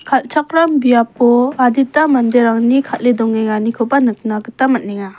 alchakram biapo adita manderangni kale dongenganikoba nikna gita man·enga.